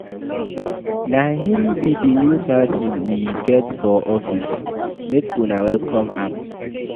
Na him be the new person we get for office, make una welcome am.